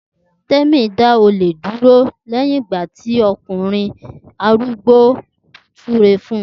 Temi da ole jale duro leyin igba ti okunrin arugbo naa sure fun